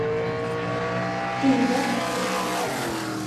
тында